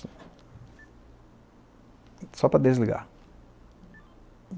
Só para desligar.